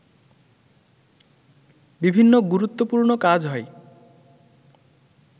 বিভিন্ন গুরুত্বপূর্ণ কাজ হয়